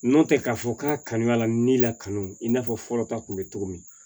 Nɔntɛ k'a fɔ k'a kanuyala ni la kanu i n'a fɔ fɔlɔ ta kun be cogo min